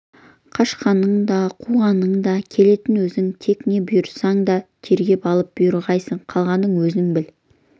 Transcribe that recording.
қашқанның да қуғанның да келетіні өзіңсің тек не бұйырсаң да тергеп алып бұйырғайсың қалғанын өзің біл